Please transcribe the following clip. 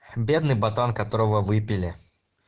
бедный пацан которого выпили